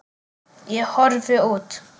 Ég horfi út.